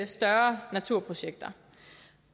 større naturprojekter